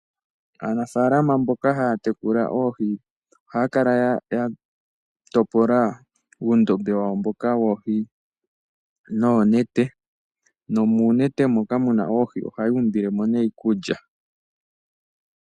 Aanafaalama mboka haya tekula oohi ohaya kala yatopola uundombe wawo mboka woohi noonete. Nomuunete moka muna oohi ohaya umbile mo nee iikulya.